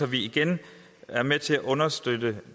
vi igen er med til at understøtte